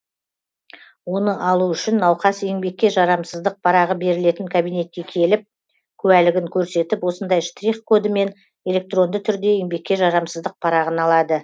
оны алу үшін науқас еңбекке жарамсыздық парағы берілетін кабинетке келіп куәлігін көрсетіп осындай штрих кодымен электронды түрде еңбекке жарамсыздық парағын алады